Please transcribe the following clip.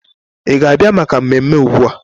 Ị ga-abịa maka mmemme ugbu a?